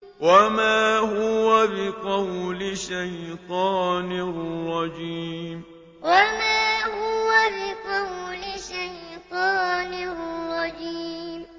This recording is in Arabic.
وَمَا هُوَ بِقَوْلِ شَيْطَانٍ رَّجِيمٍ وَمَا هُوَ بِقَوْلِ شَيْطَانٍ رَّجِيمٍ